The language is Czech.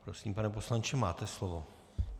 Prosím, pane poslanče, máte slovo.